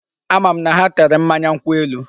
Ama m na ha tere mmanya nkwụ elu.